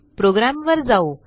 प्रोग्रॅमवर जाऊ